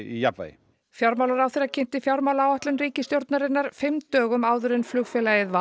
í jafnvægi fjármálaráðherra kynnti fjármálaáætlun ríkisstjórnarinnar fimm dögum áður en flugfélagið